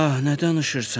Ah, nə danışırsan?